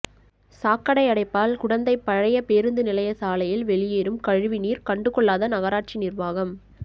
சாக்கடை அடைப்பால் குடந்தை பழைய பேருந்து நிலைய சாலையில் வெளியேறும் கழிவுநீர் கண்டுகொள்ளாத நகராட்சி நிர்வாகம்